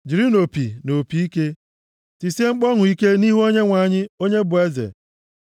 jirinụ opi na opi ike, tisie mkpu ọṅụ ike nʼihu Onyenwe anyị, Onye bụ Eze.